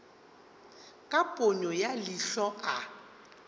ka ponyo ya leihlo ke